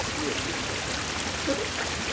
смерть я не боюсь ха-ха